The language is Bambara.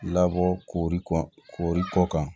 Labɔ kori kɔɔri kɔ kan